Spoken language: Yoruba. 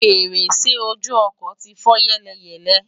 fèrèsé ojú ọkọ̀ ti fọ́ yẹ́lẹyẹ̀lẹ